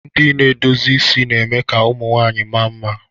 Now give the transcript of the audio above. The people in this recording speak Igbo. Ndị na-edozi isi na-eme ka ụmụ nwanyị mma mma.